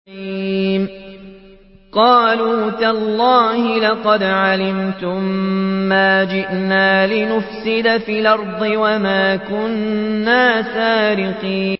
قَالُوا تَاللَّهِ لَقَدْ عَلِمْتُم مَّا جِئْنَا لِنُفْسِدَ فِي الْأَرْضِ وَمَا كُنَّا سَارِقِينَ